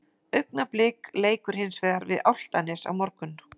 Augnablik leikur hins vegar við Álftanes á morgun.